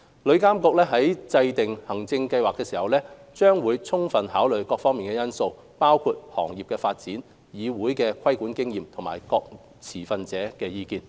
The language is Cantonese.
旅監局在制訂行政計劃時，將會充分考慮各方面因素，包括行業發展、旅議會的規管經驗及各持份者的意見等。